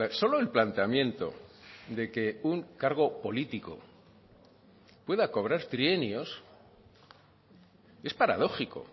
solo el planteamiento de que un cargo político pueda cobrar trienios es paradójico